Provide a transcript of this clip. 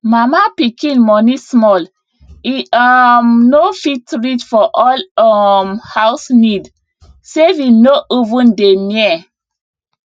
mama pikin money small e um no fit reach for all um house need saving no even dey near